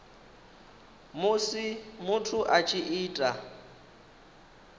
musi muthu a tshi ita